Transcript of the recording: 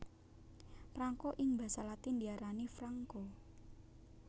Prangko ing basa latin diarani franco